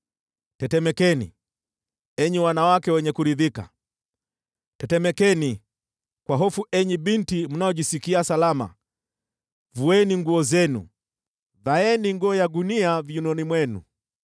Tetemekeni, enyi wanawake wenye kuridhika, tetemekeni kwa hofu, enyi binti mnaojisikia salama! Vueni nguo zenu, vaeni nguo ya gunia viunoni mwenu.